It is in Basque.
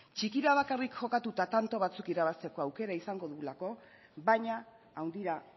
txikira bakarrik jokatuta tanto batzuk irabazteko aukera izango dugulako baina handira